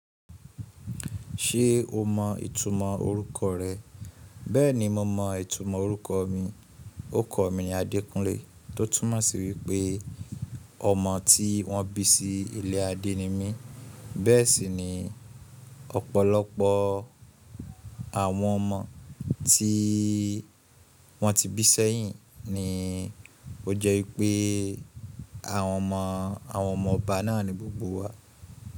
Ṣé o mọ ìtumọ̀ orúkọ rẹ? Bẹ́ẹ̀ni mo mọ ìtumọ̀ orúkọ mi. Orúkọ mi ni Adékúnlé, tó túmọ̀ sí wípé ọmọ tí wọ́n bí sí ilé Adé ni mí. Bẹ́ẹ̀ sì ni ọ̀pọ̀lọpọ̀ àwọn ọmọ tí wọ́n ti bí sẹ́yìn ni ó jẹ́ wípé àwọn ọmọ ọba náà ni gbogbo wa.